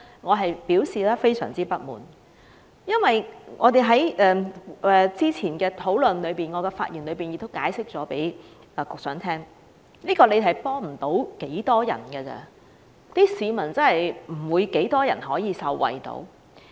我感到非常不滿，因為我們在早前的討論中，以及在我的發言中已向局長解釋，這項措施能幫助的人不多，很少市民能夠受惠。